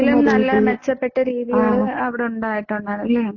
ഇതിലും നല്ല മെച്ചപ്പെട്ട രീതിയിലുള്ള അവിടെ ഉണ്ടായിട്ടുണ്ടാകും അല്ലേ